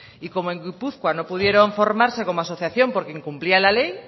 y como en gipuzkoa no pudieron formarse como asociación porque incumplían la ley